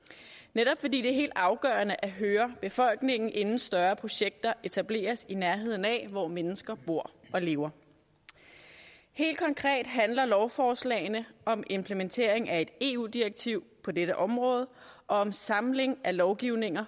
netop fordi det er helt afgørende at høre befolkningen inden større projekter etableres i nærheden af hvor mennesker bor og lever helt konkret handler lovforslagene om implementering af et eu direktiv på dette område og om samling af lovgivning